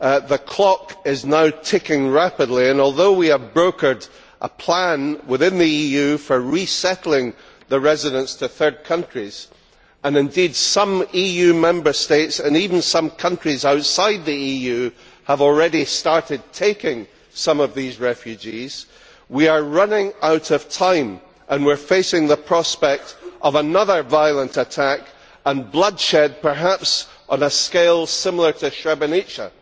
The clock is now ticking rapidly and although we have brokered a plan within the EU for resettling the residents to third countries, and some EU Member States and even some countries outside the EU have already started taking some of these refugees, we are running out of time and we are facing the prospect of another violent attack and bloodshed perhaps on a scale similar to Srebrenica.